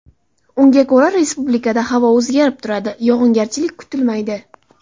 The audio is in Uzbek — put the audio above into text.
Unga ko‘ra, respublikada havo o‘zgarib turadi, yog‘ingarchilik kutilmaydi.